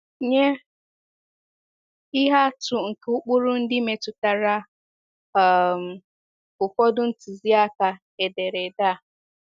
Nye ihe atụ nke ụkpụrụ ndị metụtara um ụfọdụ ntụziaka ederede a.